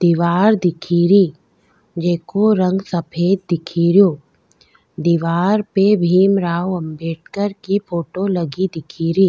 दिवार दिखेरो जेको रंग सफ़ेद दिखेरो दीवार पे भीमराव अंबेडकर की फोटो लगी दिखेरी।